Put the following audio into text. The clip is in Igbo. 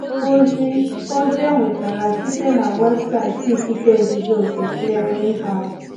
Ozi Ozi e nwetara site na webụsaịtị ikike nzuzo nke Clearinghouse.